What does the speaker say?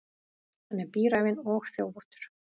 Hann er bíræfinn og þjófóttur.